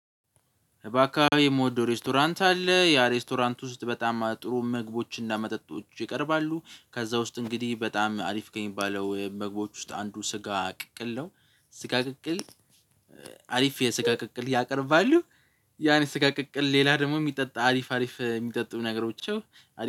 ባካባቢው የምወደው ሬስቶራንት አለ ያ ሬስቶራንት ውስጥ በጣም ጥሩ ምግቦችንና መጠጦችን ይቀርባሉ ከዛ ውስጥ እንግዲህ በጣም አሪፍ ከሚባለው ምግቦች ውስጥ አንዱ ስጋ ቅቅል ነው። ስጋ ቅቅል። አሪፍ የስጋ ቅቅል ያቀርባሉ። ያን የስጋ ቅቅል ሌላ ደግሞ የሚጠጣ አሪፍ አሪፍ የሚጠጡ ነገሮች።